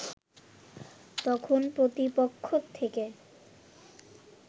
তখন প্রতিপক্ষ থেকে